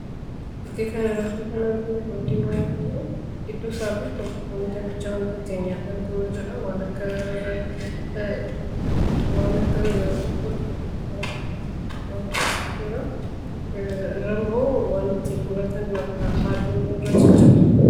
Fakkii kanarratti nyaata saanii irratti dhiyaate argina. Nyaata sana gidduu wantoota xixiqqoo akka ataraa kan jiran yoo ta'u, meeshaan ittiin muran kan akka haaduus (knife) cinaa isaa jira.